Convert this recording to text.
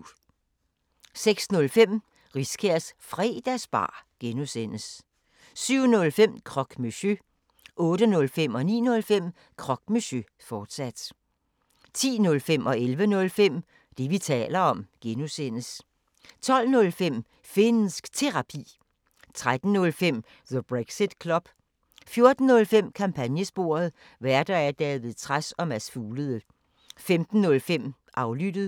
06:05: Riskærs Fredagsbar (G) 07:05: Croque Monsieur 08:05: Croque Monsieur, fortsat 09:05: Croque Monsieur, fortsat 10:05: Det, vi taler om (G) 11:05: Det, vi taler om (G) 12:05: Finnsk Terapi 13:05: The Brexit Club 14:05: Kampagnesporet: Værter: David Trads og Mads Fuglede 15:05: Aflyttet